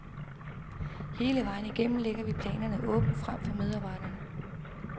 Hele vejen igennem lægger vi planerne åbent frem for medarbejderne.